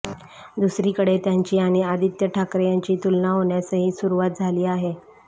दुसरीकडे त्यांची आणि आदित्य ठाकरे यांची तुलना होण्यासही सुरुवात झाली आहे